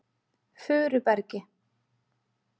Furubergi